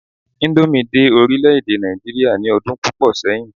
indomie dé orilẹ ede Naijiria ni odun púpò sẹyìn